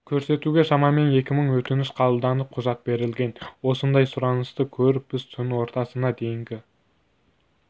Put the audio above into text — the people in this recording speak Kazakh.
көрсетуге шамамен екі мың өтініш қабылданып құжат берілген осындай сұранысты көріп біз түн ортасына дейінгі